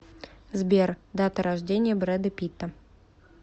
сбер дата рождения брэда питта